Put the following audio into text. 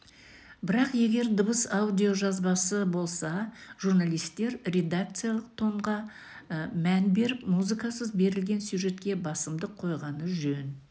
бірақ егер дыбыс аудиожазбасы болса журналистер редакциялық тонға мән беріп музыкасыз берілген сюжетке басымдық қойғаны жөн